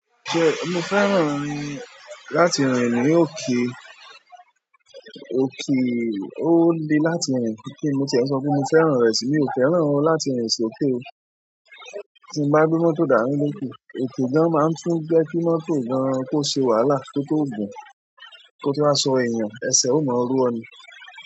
Mo fẹ́ràn rìn láti rìn ní òkè, òkè ó le láti rìn ju kin mo tí ẹ sọ pé mi fẹ́ràn rẹ̀ si, mi ò fẹ́ràn ó láti rìn sókè o. Tí n bá gbé mọ́tò dání lókè, òkè gan máa ń tún jẹ́ kí mọ́tò gan kó ṣe wàhálà kó tó gùn kó tó wá sọ èèyàn ẹsẹ̀ o máa ro ọ ni.